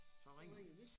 Så ringede den